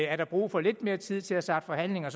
er der brug for lidt mere tid til at starte forhandlinger